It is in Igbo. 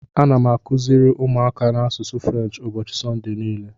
Ana m akụziri ụmụaka m asụsụ French ụbọchị Sọnde niile.